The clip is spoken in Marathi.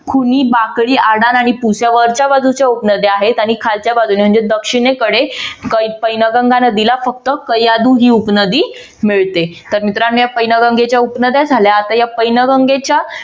ह्या वरच्या बाजूच्या उपनद्या आहेत आणि खालच्या बाजूने म्हणजे दक्षिणेकडे पैनगंगा नदीला फक्त कैयादु ही उपनदी मिळते. तर मित्रांनो या पैनगंगेंच्या उपनद्या झाल्या. आता या पैनगंगेच्या